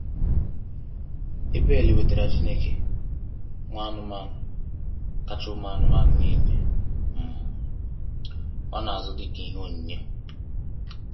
Abel wetaara Chineke nwa anụmanụ kacha ụmụ anụmanụ nile um ọ na-azụ dịka ihe onyinye.